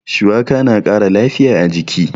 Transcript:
Shuwaka na ƙara lafiya a jiki.